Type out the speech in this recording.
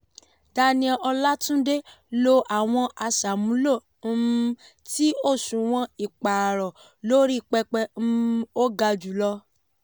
daniel olatunde lò àwọn aṣàmúlò um ti òṣùwọ̀n ìpààrọ̀ lórí pẹpẹ um ó gà jùlọ.